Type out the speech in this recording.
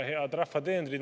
Head rahva teenrid!